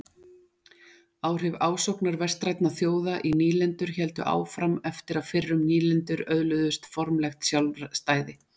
Áhrif ásóknar vestrænna þjóða í nýlendur héldu áfram eftir að fyrrum nýlendur öðluðust formlegt sjálfstæði.